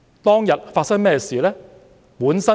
當天發生甚麼事呢？